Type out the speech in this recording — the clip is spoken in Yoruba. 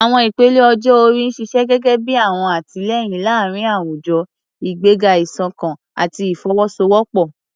Àwọn ìpele ọjọ́ orí ń ṣiṣẹ́ gẹ́gẹ́ bí ọ̀wọ̀n àtìlẹ́yìn láàárín àwùjọ, ìgbéga ìṣọ̀kan àti ìfọwọ́sowọ́pọ̀.